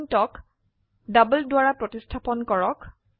intক double দ্বৰা প্ৰতিস্থাপন কৰক